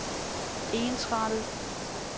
ensrettet